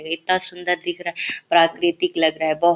ये इतना सुंदर दिख रहा है प्राकृतिक लग रहा है बहोत --